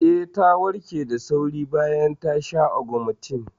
Eh, ta warke da sauri bayan ta sha Ogmentin.